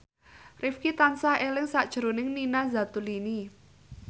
Rifqi tansah eling sakjroning Nina Zatulini